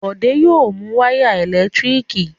Bọ̀dé yóò mu wáyà ẹ̀lẹ́tíríkì